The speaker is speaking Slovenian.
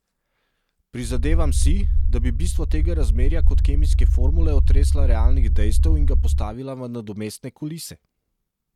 Prizadevam si, da bi bistvo tega razmerja kot kemijske formule otresla realnih dejstev in ga postavila v nadomestne kulise.